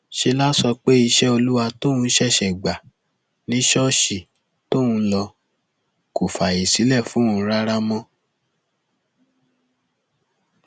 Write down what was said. ṣe láá sọ pé iṣẹ olúwa tóun ṣẹṣẹ gbà ni ṣọọṣì tóun ń lọ kò fààyè sílẹ fóun rárá mọ